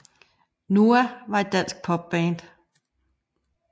NOAH var et dansk pop band